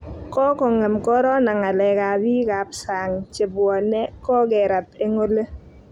kokongem corona ngalek ab bik ab sang chebwane kokerat eng oli